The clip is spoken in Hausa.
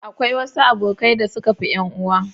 Akwai wasu abokai da suka fi 'yan uwa.